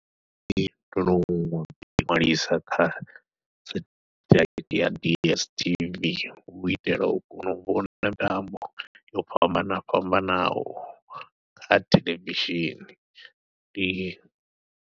Ee ndo no ḓi ṅwalisa kha setheḽaithi ya DSTV, hu u itela u kona u vhona mitambo yo fhambana fhambanaho kha theḽevishini ndi.